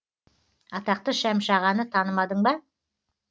атақты шәмші ағаны танымадың ба